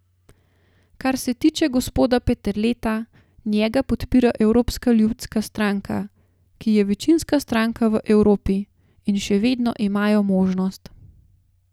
Kar se tiče gospoda Peterleta, njega podpira Evropska ljudska stranka, ki je večinska stranka v Evropi, in še vedno imajo možnost.